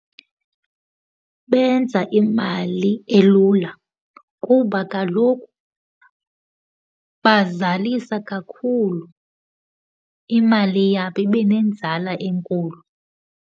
Benza imali elula kuba kaloku bazalisa kakhulu, imali yabo ibe nenzala enkulu.